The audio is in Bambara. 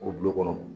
O dulo kɔnɔ